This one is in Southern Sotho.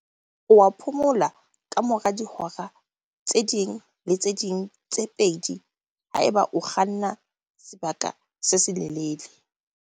Oa phomola kamora dihora tse ding le tse ding tse pedi haeba o kganna sebaka se se lelele.